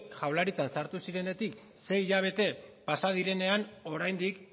jaurlaritzan sartu zinenetik sei hilabete pasa direnean oraindik